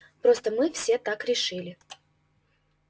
просто мы все так решили